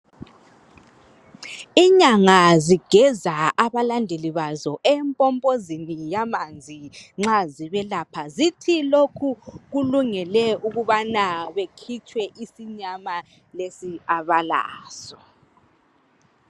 Inyanga zigeza abalandeli bazo empompozeni yamanzi nxa zibelapha. Zithi lokhu kulungele ukubana bekhitshwe isinyama lesi abalaso.